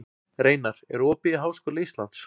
Reinar, er opið í Háskóla Íslands?